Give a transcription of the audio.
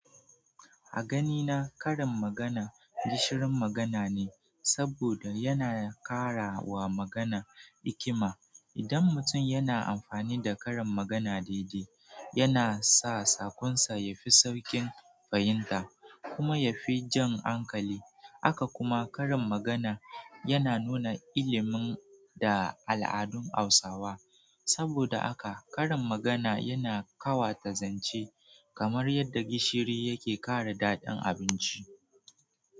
A ganina, karin magana gishirin magana ne, saboda yana ƙara wa magana ikima. Idan mutum yana amfani da karin magana daidai, yana sa saƙonsa yafi sauƙin fahimta kuma yafi jan hankali. Haka kuma, karin magana yana nuna ilimin da al'adun Hausawa. Saboda haka, karin magana yana ƙawata zance, kamar yadda gishiri yake ƙara daɗin abinci.